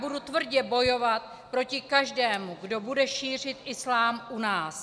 Budu tvrdě bojovat proti každému, kdo bude šířit islám u nás.